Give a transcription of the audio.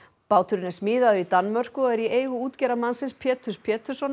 báturinn er smíðaður í Danmörku og er í eigu útgerðarmannsins Péturs Péturssonar